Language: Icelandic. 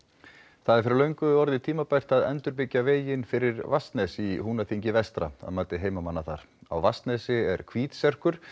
það er fyrir löngu orðið tímabært að endurbyggja veginn fyrir Vatnsnes í Húnaþingi vestra að mati heimamanna þar á Vatnsnesi er hvítserkur